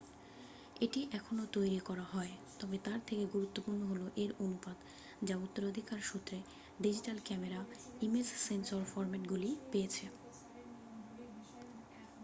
এটি এখনও তৈরি করা হয় তবে তার থেকেও গুরুত্বপূর্ণ হল এর অনুপাত যা উত্তরাধিকার সূত্রে ডিজিটাল ক্যামেরা ইমেজ সেন্সর ফরম্যাটগুলি পেয়েছে